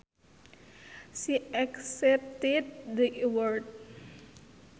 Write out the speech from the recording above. She accepted the award